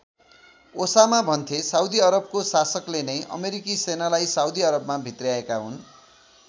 Osama भन्थे Saudi अरबको शासकले नै अमेरिकी सेनालाई साउदी अरबमा भित्र्याएका हुन्।